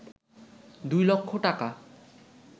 দুই লক্ষ টাকা